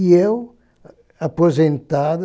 E eu, aposentado,